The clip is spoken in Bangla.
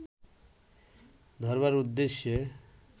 ধরবার উদ্দেশ্যে